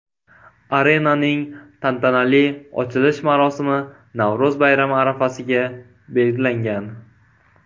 Arenaning tantanali ochilish marosimi Navro‘z bayrami arafasiga belgilangan.